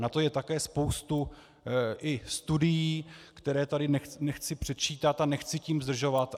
Na to je také spousta i studií, které tady nechci předčítat a nechci tím zdržovat.